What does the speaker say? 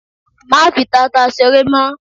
Má fi tata ṣeré mọ́!